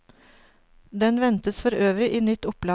Den ventes forøvrig i nytt opplag.